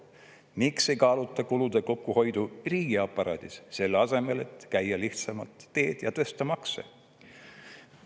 Miks ei kaaluta kulude kokkuhoidu riigiaparaadis, selle asemel et käia lihtsamalt teed ja tõsta makse?